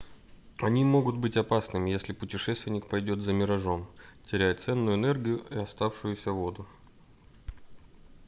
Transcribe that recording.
они могут быть опасными если путешественник пойдёт за миражом теряя ценную энергию и оставшуюся воду